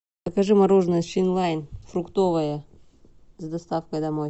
закажи мороженое финлайн фруктовое с доставкой домой